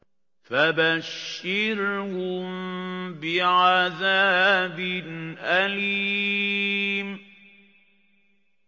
فَبَشِّرْهُم بِعَذَابٍ أَلِيمٍ